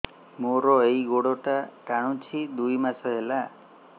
ମୋର ଏଇ ଗୋଡ଼ଟା ଟାଣୁଛି ଦୁଇ ମାସ ହେଲା